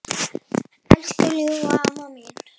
Elsku ljúfa amma mín.